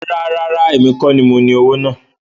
Rárá, èmi kọ́ ní mo ní owó náà